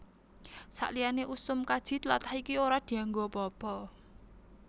Saliyané usum kaji tlatah iki ora dianggo apa apa